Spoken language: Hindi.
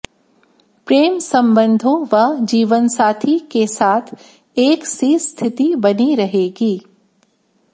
प्रेम संबंधों व जीवनसाथी के साथ एक सी स्थिति बनी रहेगी